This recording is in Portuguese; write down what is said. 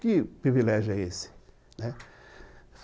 Que privilégio é esse, né.